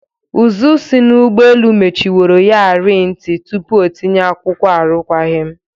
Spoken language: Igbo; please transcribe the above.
Ụzụ si n'ụgbọelu mechinworo ya ri nti tupu o tinye akwụkwọ arukwagim.